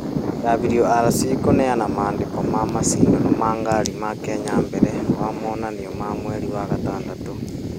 WRC kũneana maandĩko ma macindano ma ngari ma Kenya mbere wa monanio ma mweri wa gatandatũ.